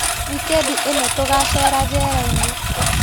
Wikendi ĩno tũgacera njerainĩ.